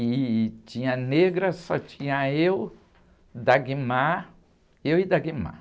E tinha, negra, só tinha eu, eu e.